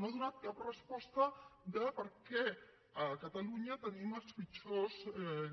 no ha donat cap resposta de per què a catalunya tenim els pitjors